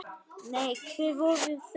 Nei, hver voru þau?